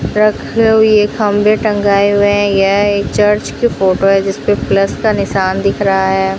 रखी हुई खम्बे टंगाए हुए हैं यह एक चर्च की फोटो है जीसपे प्लस का निशान दिख रहा है।